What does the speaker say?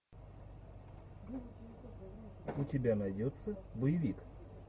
у тебя найдется боевик